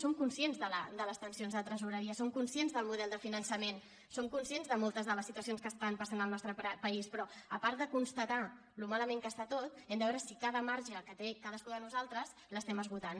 som conscients de les tensions de tresoreria som conscients del model de finançament som conscients de moltes de les situacions que estan passant al nostre país però a part de constatar com de malament està tot hem de veure si cada marge que té cadascú de nosaltres l’estem esgotant